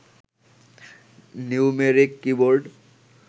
numeric keyboard